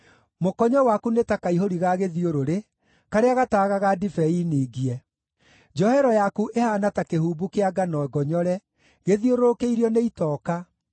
Mũkonyo waku nĩ ta kaihũri ga gĩthiũrũrĩ karĩa gataagaga ndibei ningie. Njohero yaku ĩhaana ta kĩhumbu kĩa ngano ngonyore, gĩthiũrũrũkĩirio nĩ itoka.